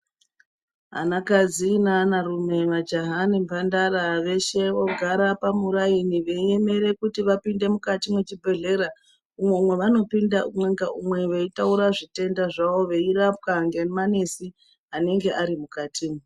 Anakadzi neanarume majaha nemhandara veshe vogara pamuraini veiemere kuti vapinde mukati mwe chibhehlera umwo mwavanopinda umwe ngaumwe veitaura zvitenda zvavo veirapwa ngemanesi anenge ari mukati.